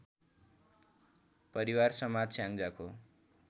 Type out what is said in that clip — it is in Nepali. परिवार समाज स्याङ्जाको